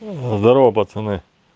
здорово пацаны